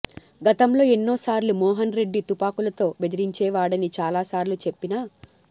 గతంలో ఎన్నో సార్లు మోహన్రెడ్డి తుపాకులతో బెదిరించేవాడని చాలా సార్లు చెప్పిన